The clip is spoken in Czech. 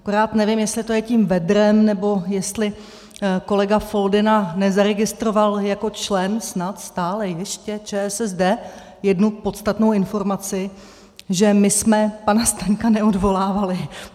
Akorát nevím, jestli to je tím vedrem, nebo jestli kolega Foldyna nezaregistroval jako člen snad stále ještě ČSSD, jednu podstatnou informaci, že my jsme pana Staňka neodvolávali.